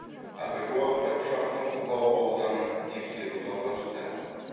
қазіргі уақытта ұшақтың құлау ауданын тексеру жалғасуда